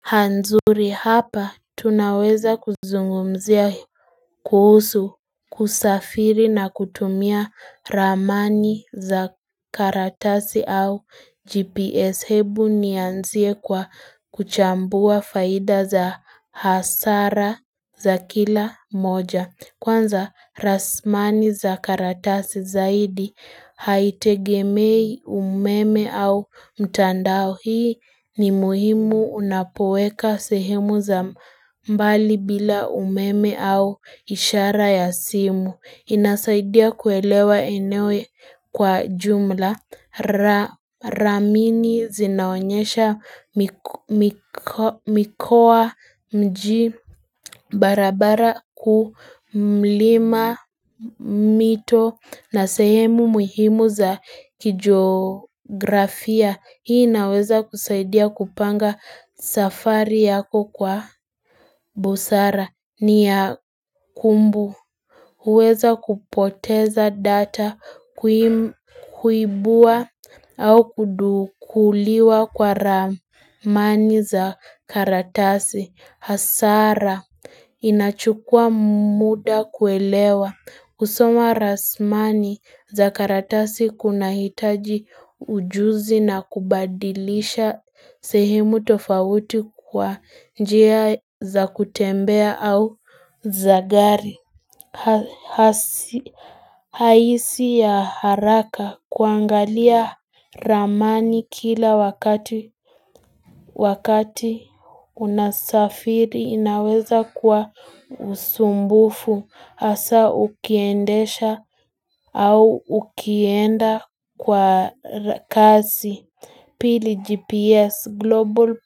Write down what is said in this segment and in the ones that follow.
Hanzuri hapa tunaweza kuzungumzia kuhusu kusafiri na kutumia ramani za karatasi au gps hebu nianzie kwa kuchambua faida za hasara za kila moja. Kwanza ramani za karatasi zaidi haitegemei umeme au mtandao hii ni muhimu unapoweka sehemu za mbali bila umeme au ishara ya simu. Inasaidia kuelewa eneo kwa jumla Ramani zinaonyesha mikoa, mji, barabara kuu, mlima mito na sehemu muhimu za kijografia. Hii inaweza kusaidia kupanga safari yako kwa busara. Ni ya kumbu, huweza kupoteza data kuibua au kudukuliwa kwa ramani za karatasi. Hasara inachukua muda kuelewa. Kusoma ramani za karatasi kunahitaji ujuzi na kubadilisha sehemu tofauti kwa njia za kutembea au za gari. Haisi ya haraka kuangalia ramani kila wakati unasafiri inaweza kwa usumbufu hasaa ukiendesha au ukienda kwa kasi. Pili GPS Global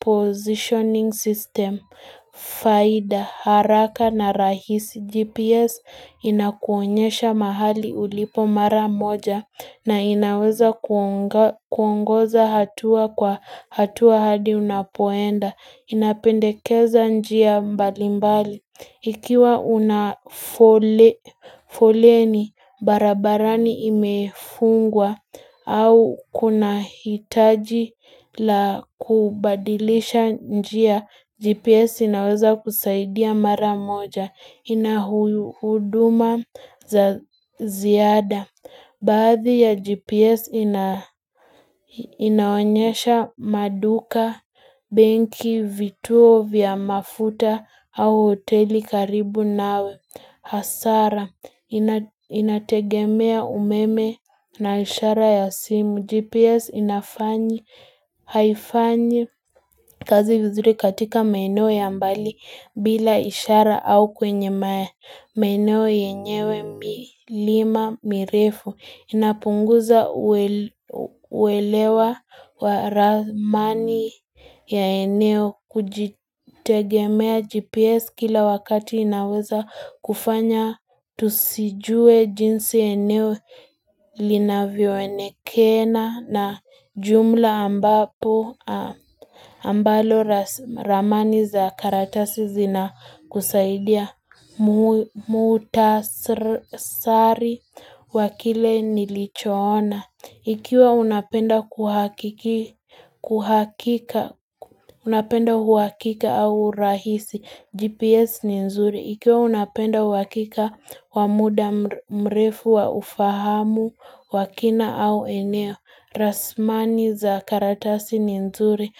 Positioning System faida haraka na rahisi. GPS inakuonyesha mahali ulipo mara moja na inaweza kuongoza hatua kwa hatua hadi unapoenda. Inapendekeza njia mbali mbali. Ikiwa una foleni barabarani imefungwa au kunahitaji la kubadilisha njia, GPS inaweza kusaidia mara moja. Ina huduma za ziada Baadhi ya GPS inaonyesha maduka, benki, vituo vya mafuta au hoteli karibu nawe. Hasara Inategemea umeme na ishara ya simu. GPS inafanya, haifanyi kazi vizuri katika maeneo ya mbali bila ishara au kwenye maeneo yenyewe, milima mirefu inapunguza uwelewa wa ramani ya eneo. Kujitegemea GPS kila wakati inaweza kufanya tusijue jinsi eneo linavyoonekana na jumla ambapo ambalo ramani za karatasi zinakusaidia Muhtasari wa kile nilichoona Ikiwa unapenda kuhakika au urahisi GPS ni nzuri. Ikiwa unapenda uhakika wa muda mrefu wa ufahamu wa kina au eneo ramani za karatasi ni nzuri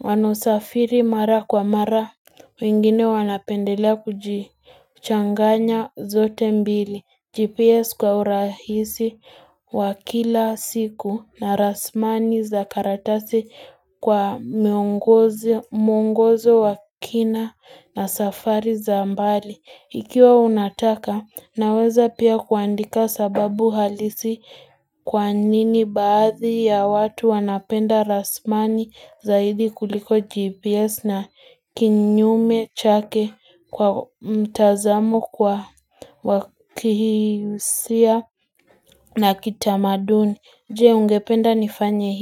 Wanaosafiri mara kwa mara wengine wanapendelea kuchanganya zote mbili, GPS kwa urahisi wa kila siku na rasmani za karatasi Kwa muongozo wa kina na safari za mbali. Ikiwa unataka unaweza pia kuandika sababu halisi Kwa nini baadhi ya watu wanapenda rasmani zaidi kuliko gps na kinyume chake kwa mtazamo kwa wa kihisia na kitamaduni. Je ungependa nifanya hii?